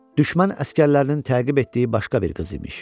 Düşmən əsgərlərinin təqib etdiyi başqa bir qız imiş.